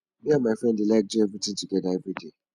me and my friend dey like do everything together everyday